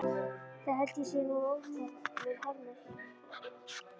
Það held ég sé nú óþarfur harmur.